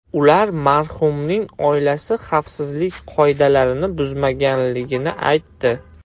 Ular marhumning oilasi xavfsizlik qoidalarini buzmaganligini aytdi.